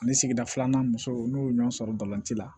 Ani sigida filanan muso n'o ye ɲɔgɔn sɔrɔ balɔnce la